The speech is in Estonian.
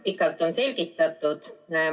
Pikalt on selgitatud.